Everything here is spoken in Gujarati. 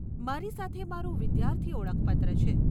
મારી સાથે મારું વિદ્યાર્થી ઓળખપત્ર છે.